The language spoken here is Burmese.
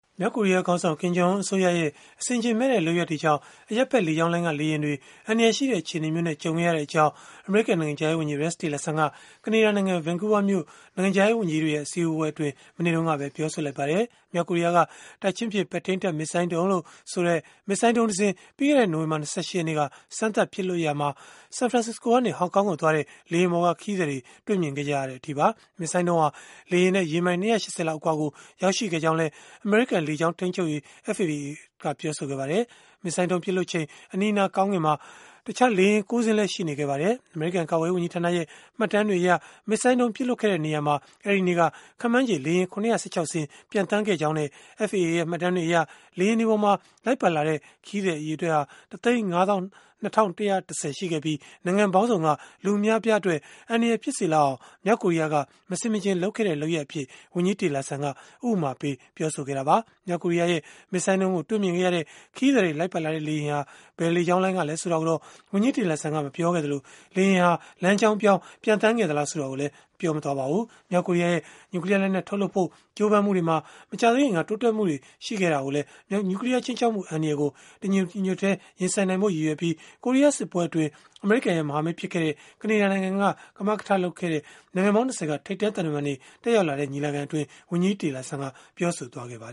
မြောက်ကိုရီးယားခေါင်းဆောင် Kim Jong Un အစိုးရရဲ့ အဆင်ခြင်မဲ့တဲ့ လုပ်ရပ်တွေကြောင့် အရပ်ဘက်လေကြောင်းလိုင်းက လေယာဉ်တွေ အန္တရာယ်ရှိတဲ့ အခြေအနေမျိုးနဲ့ ကြုံရတဲ့အကြောင်း အမေရိကန် နိုင်ငံခြားရေးဝန်ကြီး Rex Tillerson က ကနေဒါနိုင်ငံ Vancouver မြို့ နိုင်ငံခြားရေးဝန်ကြီးတွေ အစည်းအဝေးပွဲမှာ မနေ့တုန်းက ပြောဆိုလိုက်ပါတယ်။ မြောက်ကိုရီးယားက တိုက်ချင်းပစ် ပဲ့ထိန်းတပ် မစ်ဇိုင်းဒုံးလို့ဆိုတဲ့ မစ်ဇိုင်းဒုံးတစင်း ပြီးခဲ့တဲ့ နိုဝင်ဘာ ၂၈ ရက်နေ့က စမ်းသပ်ပစ်လွှတ်ခဲ့ရာမှာ San Francisco ကနေ Hong Kong ကိုသွားတဲ့ လေယာဉ်ပေါ်က ခရီးသည်တွေ မြင်ခဲ့ကြတဲ့အထိပါ။ မစ်ဇိုင်းဒုံးဟာ လေယာဉ်နဲ့ ရေမိုင် ၂၈၀ လောက် အကွာကို ရောက်ရှိခဲ့ကြောင်းလည်း အမေရိကန် လေကြောင်းထိန်းချုပ်ရေး FAA ကပြောပါတယ်။ မစ်ဇိုင်းဒုံးပစ်လွှတ်ချိန် အနီးအနား ကောင်းကင်မှာ တခြားလေယာဉ် ၉ စင်းလည်း ရှိနေခဲ့ပါတယ်။ အမေရိကန် ကာကွယ်ရေးဝန်ကြီးဌာနရဲ့ မှတ်တမ်းတွေအရ မစ်ဇိုင်းဒုံးပစ်လွှတ်ခဲ့တဲ့နေရာမှာ အဲဒီနေ့က ခန့်မှန်းချေ လေယာဉ် ၇၁၆ စင်း ပျံသန်းခဲ့ကြောင်းနဲ့ FAA ရဲ့ မှတ်တမ်းတွေအရ လေယာဉ်တွေမှာ လိုက်ပါလာတဲ့ ခရီးသည်အရေအတွက် ၁၅၂,၁၁၀ ရှိခဲ့ပြီး၊ နိုင်ငံပေါင်းစုံက လူအများအပြားအတွက် အန္တရာယ်ဖြစ်စေလောက်အောင် မြောက်ကိုရီးယားက မဆင်မခြင်လုပ်ခဲ့တဲ့ လုပ်ရပ်အဖြစ် ဝန်ကြီး Tillerson က ဥပမာပေး ပြောဆိုခဲ့တာပါ။ မြောက်ကိုရီးယားရဲ့ မစ်ဇိုင်းဒုံးကို တွေ့မြင်ခဲ့ရတဲ့ ခရီးသည်တွေ လိုက်ပါလာတဲ့ လေယာဉ်ဟာ ဘယ်လေကြောင်းလိုင်းကလည်း ဆိုတာကိုတော့ ဝန်ကြီး Tillerson ကမပြောခဲ့သလို၊ လေယာဉ်ဟာ လမ်းကြောင်းပြောင်း ပျံသန်းခဲ့သလား ဆိုတာကိုလည်း မပြောပါဘူး။ မြောက်ကိုရီးယားရဲ့ နျူကလီးယားလက်နက် ထုတ်လုပ်ဖို့ ကြိုးပမ်းမှုတွေမှာ မကြာသေးခင်က တိုးတက်မှုတွေ ရှိခဲ့ကြောင်းလည်း နျူကလီးယား ခြိမ်းခြောက်မှု အန္တရာယ်ကို တညီတညွတ်တည်း ရင်ဆိုင်နိုင်ဖို့ ရည်ရွယ်ပြီး ကိုရီးယား စစ်ပွဲအတွင်း အမေရိကန်ရဲ့ မဟာမိတ်ဖြစ်ခဲ့တဲ့ ကနေဒါနိုင်ငံက ကမကထလုပ်ပြီး နိုင်ငံပေါင်း ၂၀ က ထိပ်တန်းသံတမန်တွေ တက်ရောက်လာတဲ့ ညီလာခံမှာ ဝန်ကြီး Tillerson ပြောဆိုခဲ့တာပါ